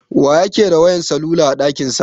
Wa yake da wayan salula a ɗakin sa?